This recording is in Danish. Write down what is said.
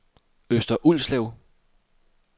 Øster Ulslev